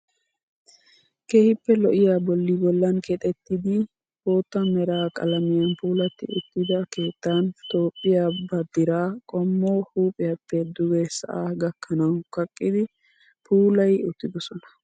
Keehippe lo'iyaa bolli bollan keexeettidi bootta mera qalmiyan puulatti uttida keettan Toophphiyaa baddiraa qommo huuphiyaappe duge sa'aa gakkanawu kaqqidi puulayi uttidosona.